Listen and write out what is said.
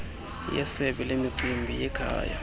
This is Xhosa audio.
yesebe lemicimbi yekhaya